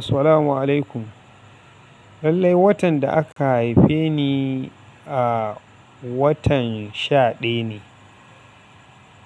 Assalamu'alaikum. Lallai watan da aka haife ni a watan sha ɗayane.